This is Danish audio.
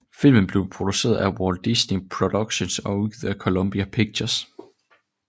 Filmen blev produceret af Walt Disney Productions og udgivet af Columbia Pictures